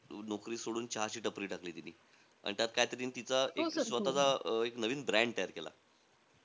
नौकरी सोडून चहाची टपरी टाकली तीनि. आणि त्यात काईतरी तिचा अं एक स्वतःचा अं एक नवीन brand तयार केला.